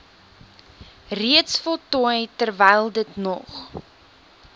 reeds voltooi terwylditnog